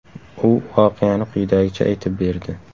U voqeani quyidagicha aytib berdi.